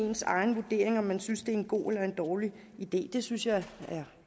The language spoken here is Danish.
egen vurdering af om man synes det en god eller dårlig idé det synes jeg er